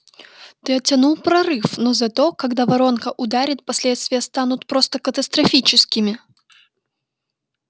ты оттянул прорыв но зато когда воронка ударит последствия станут просто катастрофическими